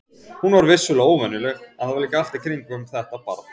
Hún var vissulega óvenjuleg, en það var líka allt í kringum þetta barn.